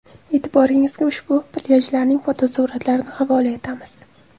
E’tiboringizga ushbu plyajlarning fotosuratlarini havola etamiz.